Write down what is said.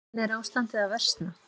En er ástandið að versna?